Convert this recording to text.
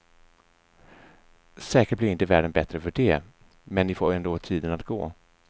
Säkert blir inte världen bättre för det, men ni får ändå tiden att gå.